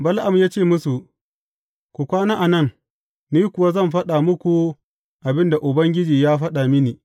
Bala’am ya ce musu, Ku kwana a nan, ni kuwa zan faɗa muku abin da Ubangiji ya faɗa mini.